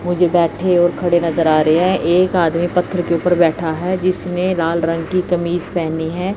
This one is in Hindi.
मुझे बैठे और खड़े नज़र आ रहे हैं एक आदमी पत्थर के ऊपर बैठा है जिसने लाल रंग की कमीज पेहनी है।